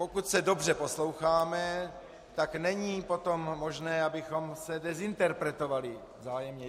Pokud se dobře posloucháme, tak není potom možné, abychom se dezinterpretovali vzájemně.